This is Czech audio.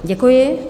Děkuji.